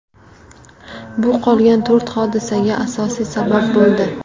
Bu qolgan to‘rt hodisaga asosiy sabab bo‘ldi.